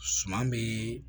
Suman bɛ